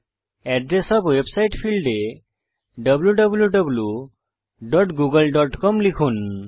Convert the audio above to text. address of website ফীল্ডে wwwgooglecom লিখুন